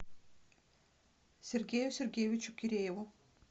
сергею сергеевичу кирееву